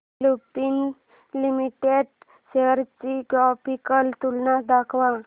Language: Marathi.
लुपिन लिमिटेड शेअर्स ची ग्राफिकल तुलना दाखव